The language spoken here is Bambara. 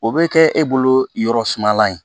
O bɛ kɛ e bolo yɔrɔ suma ye